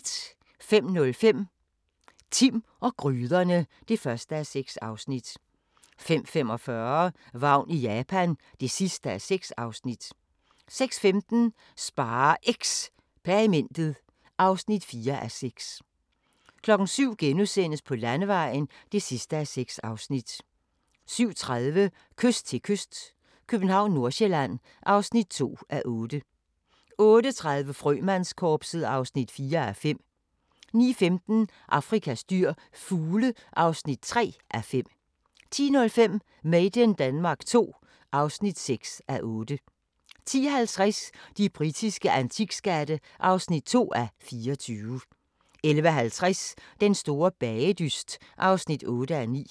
05:05: Timm og gryderne (1:6) 05:45: Vagn i Japan (6:6) 06:15: SpareXperimentet (4:6) 07:00: På Landevejen (6:6)* 07:30: Kyst til kyst - København/Nordsjælland (2:8) 08:30: Frømandskorpset (4:5) 09:15: Afrikas dyr – fugle (3:5) 10:05: Made in Denmark II (6:8) 10:50: De britiske antikskatte (2:24) 11:50: Den store bagedyst (8:9)